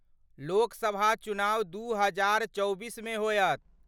लोक सभा चुनाव दू हजार चौबीसमे होयत।